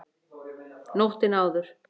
Nóttina áður!